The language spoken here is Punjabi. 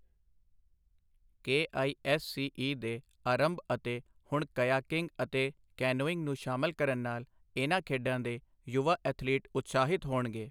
K I S C E ਦੇ ਆਰੰਭ ਅਤੇ ਹੁਣ ਕਯਾਕਿੰਗ ਅਤੇ ਕੈਨੋਇੰਗ ਨੂੰ ਸ਼ਾਮਲ ਕਰਨ ਨਾਲ ਇਨ੍ਹਾਂ ਖੇਡਾਂ ਦੇ ਯੁਵਾ ਐਥਲੀਟ ਉਤਸਾਹਿਤ ਹੋਣਗੇ।